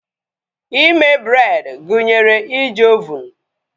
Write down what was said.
Ime bred gụnyere iji ovunu